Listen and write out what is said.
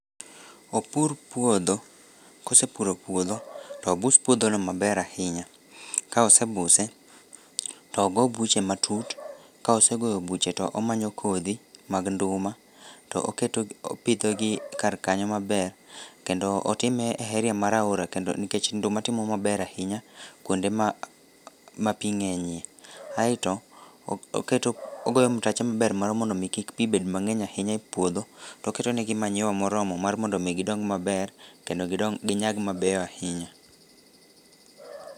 Opur puodho, kosepuro puodho tobus puodhono maber ahinya ka osebuse togo buche matut ka osegoyo buche to omanyo kodhi mag nduma to opidhogi karkanyo maber kendo otime e heria mar aora nikech nduma timo maber ahinya kuonde ma pi ng'enyie. Aeto ogoyo mtache maber mar mondo mi kik pi bed mang'eny ahinya e puodho toketonegi manyiwa moromo mar mondo omi gidong maber kendo ginyag mabeyo ahinya.